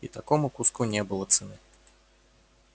и такому куску не было цены